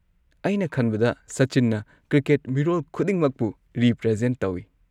ꯑꯩꯅ ꯈꯟꯕꯗ ꯁꯆꯤꯟꯅ ꯀ꯭ꯔꯤꯀꯦꯠ ꯃꯤꯔꯣꯜ ꯈꯨꯗꯤꯡꯃꯛꯄꯨ ꯔꯤꯄ꯭ꯔꯖꯦꯟꯠ ꯇꯧꯢ ꯫